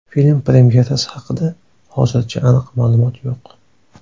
Film premyerasi haqida hozircha aniq ma’lumot yo‘q.